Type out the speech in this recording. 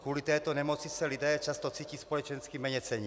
Kvůli této nemoci se lidé často cítí společensky méněcenní.